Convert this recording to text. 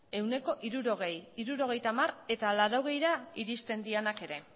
ehuneko hirurogei ehuneko hirurogeita hamar eta ehuneko laurogeira iristen direnak ere